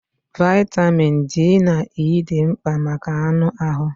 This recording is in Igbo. Vaịtamịn D na E dị mkpa maka anụ ahụ.